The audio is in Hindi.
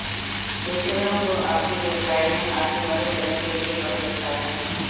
पेशेवरों को आपके व्यवसाय में आपकी मदद करने के लिए बहुत अच्छा है